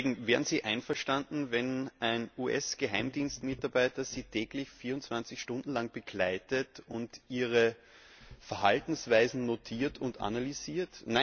Liebe Kollegen, wären Sie einverstanden, wenn ein US Geheimdienst Mitarbeiter Sie täglich 24 Stunden lang begleitet und Ihre Verhaltensweisen notiert und analysiert?